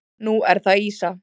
Nú er það ýsa.